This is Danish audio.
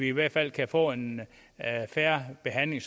i hvert fald kan få en fair behandling